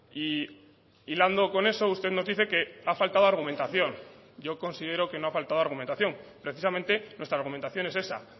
y hilando con eso usted nos dice que ha faltado argumentación yo considero que no ha faltado argumentación precisamente nuestra argumentación es esa